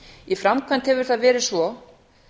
í framkvæmd hefur það verið svo